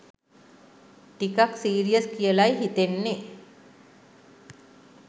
ටිකක් සීරියස් කියලායි හිතෙන්නේ.